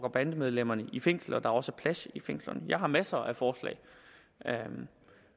og bandemedlemmerne i fængsel og at der også er plads i fængslerne jeg har masser af forslag